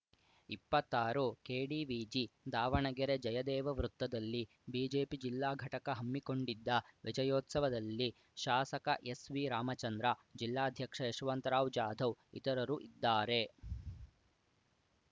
ಇಪ್ಪತ್ತಾರು ಕೆಡಿವಿಜಿ ದಾವಣಗೆರೆ ಜಯದೇವ ವೃತ್ತದಲ್ಲಿ ಬಿಜೆಪಿ ಜಿಲ್ಲಾ ಘಟಕ ಹಮ್ಮಿಕೊಂಡಿದ್ದ ವಿಜಯೋತ್ಸವದಲ್ಲಿ ಶಾಸಕ ಎಸ್‌ವಿರಾಮಚಂದ್ರ ಜಿಲ್ಲಾಧ್ಯಕ್ಷ ಯಶವಂತರಾವ್‌ ಜಾಧವ್‌ ಇತರರು ಇದ್ದಾರೆ